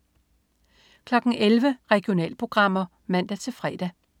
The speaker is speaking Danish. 11.00 Regionalprogrammer (man-fre)